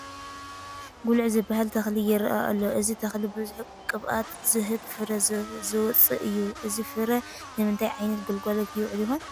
ጉልዒ ዝበሃል ተኽሊ ይርአ ኣሎ፡፡ እዚ ተኽሊ ብዙሕ ቅብኣት ዝህብ ፍረ ዘውፅእ እዩ፡፡ እዚ ፍረ ንምንታይ ዓይነት ግልጋሎት ይውዕል ይኾን?